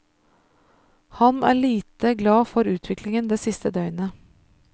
Han er lite glad for utviklingen det siste døgnet.